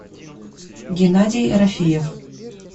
геннадий рафиев